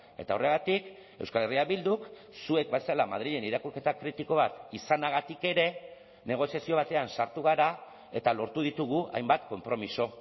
eta horregatik euskal herria bilduk zuek bezala madrilen irakurketa kritiko bat izanagatik ere negoziazio batean sartu gara eta lortu ditugu hainbat konpromiso